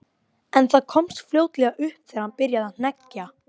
En það komst fljótlega upp þegar hann byrjaði að hneggja.